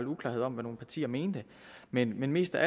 uklarhed om hvad nogle partier mente men men mest af